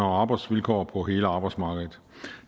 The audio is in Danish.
og arbejdsvilkår på hele arbejdsmarkedet